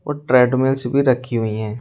और treadmills भी रखी हुई हैं।